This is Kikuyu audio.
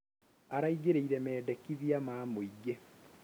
Araingĩrĩire mendekithia ma mũingĩ